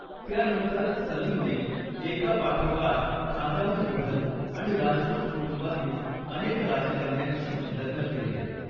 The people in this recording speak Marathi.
त्यानंतर, सलीमने, एकापाठोपाठ, खानदानी मुघल आणि राजपूत कुटुंबातील अनेक राजकन्यांशी लग्न केले.